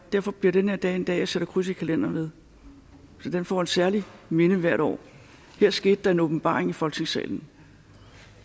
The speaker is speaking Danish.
derfor bliver den her dag en dag som jeg sætter kryds i kalenderen ved den får et særligt minde hvert år her skete der en åbenbaring i folketingssalen